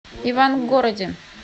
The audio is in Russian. ивангороде